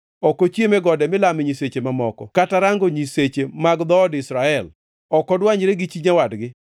“Ok ochiem e gode milame nyiseche mamoko kata rango nyiseche mag dhood Israel. Ok odwanyre gi chi nyawadgi